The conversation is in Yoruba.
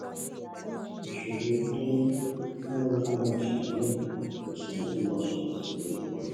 ìṣòro owó tó ní mú kó máa ṣàníyàn kò sì mọ ohun tó máa ṣẹlè sí i lójó iwájú